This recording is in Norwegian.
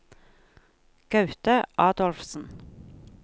Gaute Adolfsen